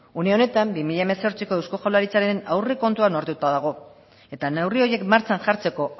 une honetan bi mila hemezortziko eusko jaurlaritzaren aurrekontua onartuta dago eta neurri horiek martxan jartzeko